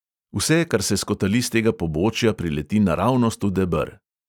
Vse, kar se skotali s tega pobočja, prileti naravnost v deber.